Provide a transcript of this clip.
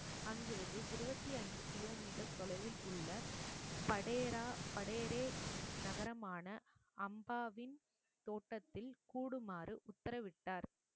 அங்கிருந்து இருபத்தி ஐந்து கிலோமீட்டர் தொலைவில் உள்ள படையரா படையரே நகரமான அம்பாவின் தோட்டத்தில் கூடுமாறு உத்தரவிட்டார்